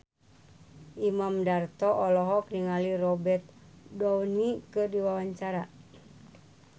Imam Darto olohok ningali Robert Downey keur diwawancara